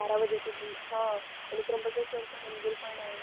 आणि त्र्यंबकेश्वर चा मंदिर पण आहे